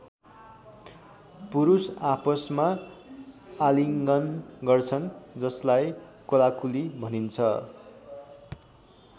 पुरुष आपसमा आलिङ्गन गर्दछन् जसलाई कोलाकुली भनिन्छ।